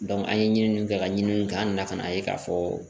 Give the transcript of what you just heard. an ye ɲiniw kɛ ka ɲininiw kɛ an na n'a ye k'a fɔ